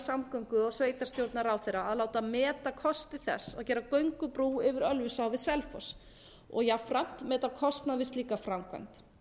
samgöngu og sveitarstjórnarráðherra að láta meta kosti þess að gera göngubrú yfir ölfusá við selfoss og jafnframt meta kostnað við slíka framkvæmd